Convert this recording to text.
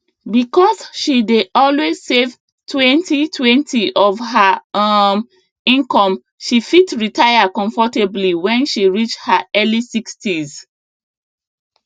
because she dey always savetwenty20 of her um income she fit retire comfortably when she reach her early sixties